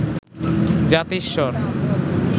জাতিস্বর